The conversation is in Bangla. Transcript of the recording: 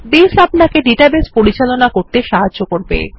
বেস আপনাকে ডাটাবেস পরিচালনা করতে সাহায্য করবে